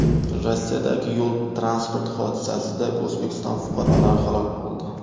Rossiyadagi yo‘l-transport hodisasida O‘zbekiston fuqarolari halok bo‘ldi.